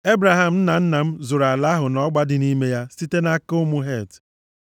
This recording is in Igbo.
Ebraham nna nna m zụrụ ala ahụ na ọgba dị nʼime ya site nʼaka ụmụ Het.”